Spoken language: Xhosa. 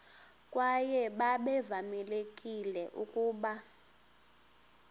kwaye babevamelekile ukuba